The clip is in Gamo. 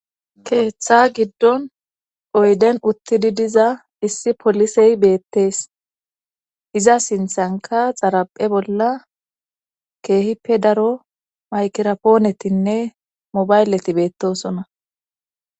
keeththa giddon oyden uttidi diza issi polisey beettees iza sinthanka xaraphe bolla keehippe daro maykerapoonetinne mobaylleti beettosona